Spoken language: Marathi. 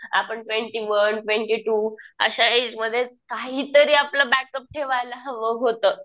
आपण ट्वेंटी वन ट्वेंटी टू अशा एज मधेच काहीतरी आपलं बॅकअप ठेवायला हव होतं.